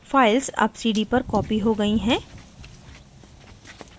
files अब cd पर copied हो गयीं हैं